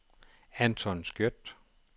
Anton Skjødt